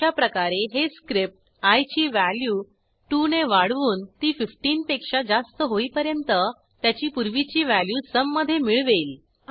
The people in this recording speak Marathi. अशाप्रकारे हे स्क्रिप्ट आय ची व्हॅल्यू 2 ने वाढवून ती 15 पेक्षा जास्त होईपर्यंत त्याची पूर्वीची व्हॅल्यू sumमधे मिळवेल